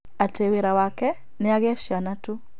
Atĩ wĩra wake nĩ agĩe ciana tu